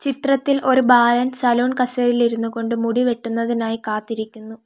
ചിത്രത്തിൽ ഒരു ബാലൻ സലൂൺ കസേരയിൽ ഇരുന്നുകൊണ്ട് മുടി വെട്ടുന്നതിനായി കാത്തിരിക്കുന്നു.